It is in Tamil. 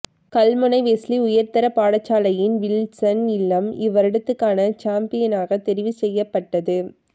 கல்முனை வெஸ்லி உயர்தரப் பாடசாலையின் வில்ஸன் இல்லம் இவ்வருடத்துக்கான சம்பியனாக தெரிவுசெய்யப்பட்டது